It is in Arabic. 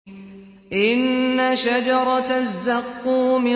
إِنَّ شَجَرَتَ الزَّقُّومِ